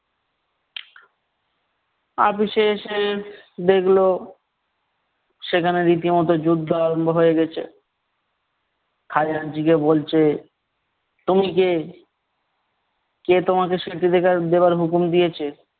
আপিসে এসে দেখলো সেখানে রীতিমত যুদ্ধ আরম্ভ হয়ে গেছে । খাজাঞ্চিকে বলছে, তুমি কে? কে তোমাকে দেওয়ার হুকুম দিয়েছে?